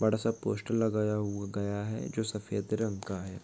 बड़ा सा पोस्टर लगाया हुआ गया है जो सफेद रंग का है।